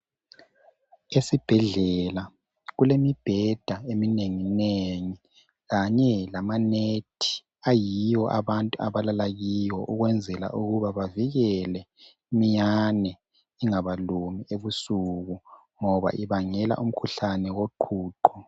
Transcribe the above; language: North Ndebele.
Ezibhedlela kulemibheda eminenginengi kanye lamanethi ayiwo abantu abalala kiwo ukwenzela ukuba bavikele imiyane ingabalumi ebusuku ngoba ibangela umkhuhlane woqhuqho.